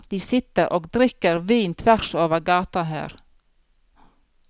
De sitter og drikker vin tvers over gata her.